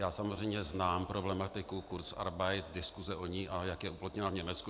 Já samozřejmě znám problematiku kurzarbeitu, diskuse o ní, a jak je uplatněna v Německu.